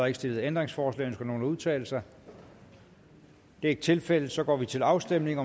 ikke stillet ændringsforslag ønsker nogen at udtale sig det er ikke tilfældet og så går vi til afstemning